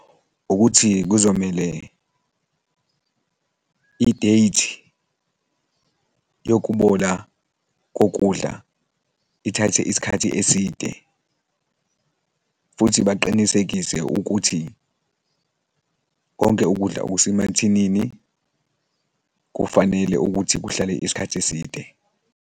Ukuthi kuzomele i-date yokubola kokudla ithathe isikhathi eside, futhi baqinisekise ukuthi konke ukudla okusemathinini kufanele ukuthi kuhlale isikhathi eside.